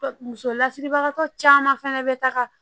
Muso lasiribagatɔ caman fana bɛ taga